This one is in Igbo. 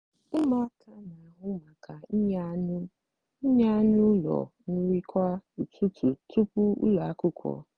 ụmụaka n'ahụ maka inye anụ inye anụ ụlọ nri kwa ụtụtụ tupu ụlọ akwụkwọ.